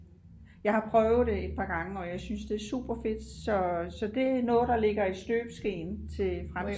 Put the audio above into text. jeg har prøvet det et par gange og jeg synes det er super fedt så det er noget der ligger i støbeskeen til fremtiden